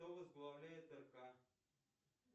кто возглавляет рк